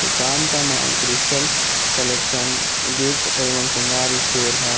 दुकान का नाम क्रिस्टल कलेक्शन गिफ्ट एवं श्रृंगार स्टोर है।